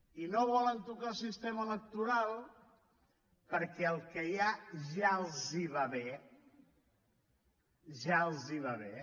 i no volen tocar el sistema electoral perquè el que hi ha ja els va bé ja els va bé